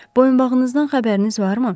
Boyunbağınızdan xəbəriniz varmı?